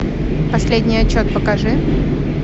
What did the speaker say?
последний отчет покажи